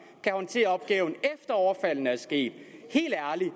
kan håndtere opgaven efter overfaldene er sket helt ærligt